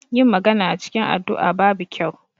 Yin magana a cikin addu'a babu kyau.